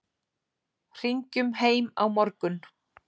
Hringjum heim á morgun.